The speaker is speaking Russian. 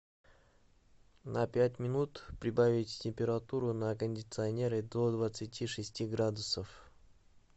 на пять минут прибавить температуру на кондиционере до двадцати шести градусов